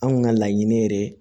Anw kun ka laɲini yɛrɛ ye